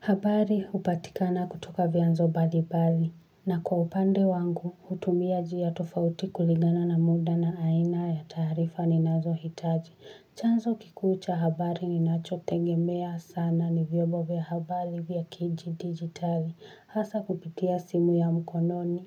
Habari hupatikana kutoka vyanzo mbalimbali na kwa upande wangu hutumia njia tofauti kuligana na muda na aina ya taarifa ninazo hitaji. Chanzo kikuu cha habari ninacho tegemea sana ni vyombo vya habari vya kidigitali. Hasa kupitia simu ya mkononi.